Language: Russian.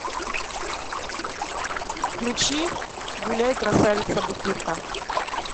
включи гуляй красавица бутырка